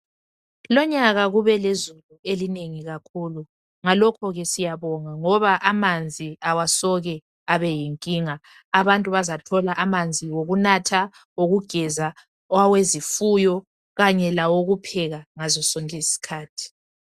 Lonyaka kube lezulu elinengi kakhulu ngalokho ke siyabonga ngoba amanzi awasoke abeyinkinga abantu bazathola amanzi okunatha, okugeza, awezifuyo kanye lawokupheka ngazo zonke izikhathi.